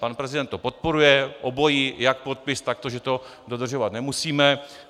Pan prezident to podporuje obojí, jak podpis, tak to, že to dodržovat nemusíme.